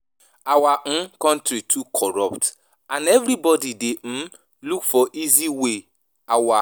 Our um country too corrupt and everybody dey um look for easy way our/